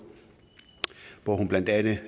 hvor hun blandt andet